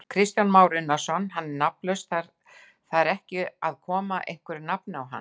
Kristján Már Unnarsson: Hann er nafnlaus, þar ekki að koma einhverju nafni á hann?